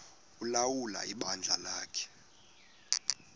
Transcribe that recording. ulawula ibandla lakhe